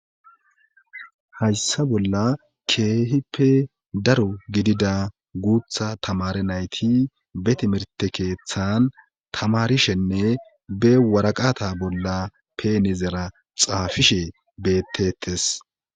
hayssa bolla keehippe daro gidida guutha tamare nayti be timerte keeththan tamarishenne be waraqata bolla peenizera xaafishe betetes